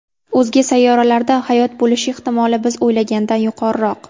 O‘zga sayyoralarda hayot bo‘lishi ehtimoli biz o‘ylagandan yuqoriroq.